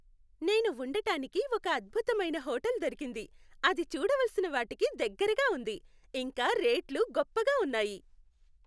నేను ఉండటానికి ఒక అద్భుతమైన హోటల్ దొరికింది, అది చూడవలసిన వాటికి దగ్గరగా ఉంది, ఇంకా రేట్లు గొప్పగా ఉన్నాయి.